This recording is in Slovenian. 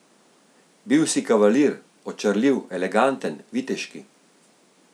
Bil si kavalir, očarljiv, eleganten, viteški.